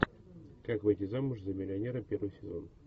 как выйти замуж за миллионера первый сезон